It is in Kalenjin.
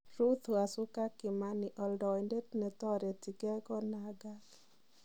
Ruth Wacuka Kimani:Oldoindet netoreteng'ei konaagag.